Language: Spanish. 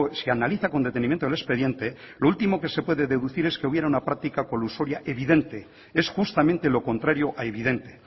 se analiza con detenimiento el expediente lo último que se puede deducir es que hubiera una práctica colusoria evidente es justamente lo contrario a evidente